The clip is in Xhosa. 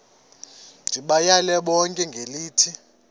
ndibayale bonke ngelithi